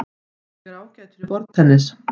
Ég er ágætur í borðtennis.